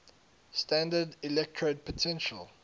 standard electrode potential